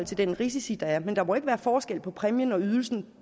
den risici der er men der må ikke være forskel på præmien og ydelsen